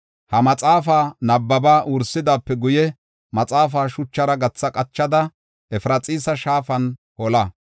Ha maxaafa nabbaba wursidaape guye, maxaafa shuchara gatha qachada, Efraxiisa shaafan hola.